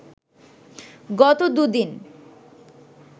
গত দু'দিন